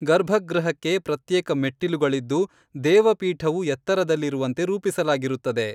ಗರ್ಭಗೃಹಕ್ಕೆ ಪ್ರತ್ಯೇಕ ಮೆಟ್ಟಿಲುಗಳಿದ್ದು ದೇವಪೀಠವು ಎತ್ತರದಲ್ಲಿರುವಂತೆ ರೂಪಿಸಲಾಗಿರುತ್ತದೆ.